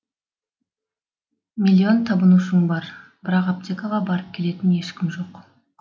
миллион табынушың бар бірақ аптекаға барып келетін ешкім жоқ